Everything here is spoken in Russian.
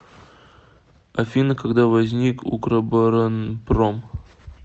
афина когда возник укроборонпром